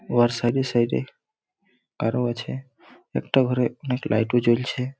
ওহে সাইডে সাইডে আরো আছে। একটা ঘরে অনেক লাইটও জ্বলছে।